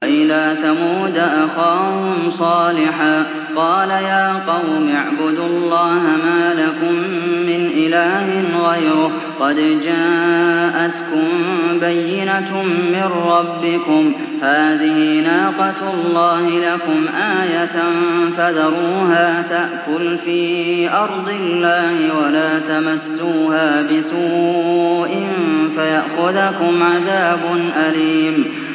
وَإِلَىٰ ثَمُودَ أَخَاهُمْ صَالِحًا ۗ قَالَ يَا قَوْمِ اعْبُدُوا اللَّهَ مَا لَكُم مِّنْ إِلَٰهٍ غَيْرُهُ ۖ قَدْ جَاءَتْكُم بَيِّنَةٌ مِّن رَّبِّكُمْ ۖ هَٰذِهِ نَاقَةُ اللَّهِ لَكُمْ آيَةً ۖ فَذَرُوهَا تَأْكُلْ فِي أَرْضِ اللَّهِ ۖ وَلَا تَمَسُّوهَا بِسُوءٍ فَيَأْخُذَكُمْ عَذَابٌ أَلِيمٌ